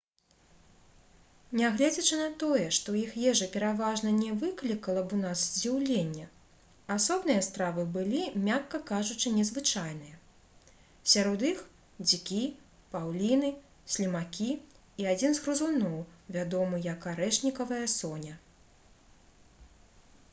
нягледзячы на тое што іх ежа пераважна не выклікала б у нас здзіўлення асобныя стравы былі мякка кажучы незвычайныя сярод іх дзікі паўліны слімакі і адзін з грызуноў вядомы як арэшнікавая соня